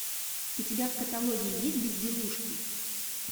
у тебя в каталоге есть безделушки